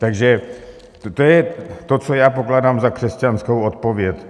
Takže to je to, co já pokládám za křesťanskou odpověď.